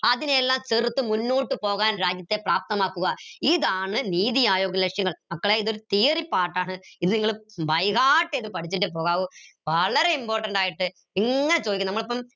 അതിനെല്ലാം തിർത്ത് മുന്നോട്ട് പോകാൻ രാജ്യത്തെ പ്രാപ്തമാക്കുക ഇതാണ് നീതി ആയോഗ് ലക്ഷ്യങ്ങൾ മക്കളെ ഇതൊരു theory part ആണ് ഇത് നിങ്ങൾ by heart എയ്ത് പഠിച്ചിട്ടേ പോകാവൂ വളരെ important ആയിട്ട് ചോയ്ക്കും നമ്മളിപ്പം